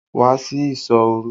Wá sí ìsọ́ òru!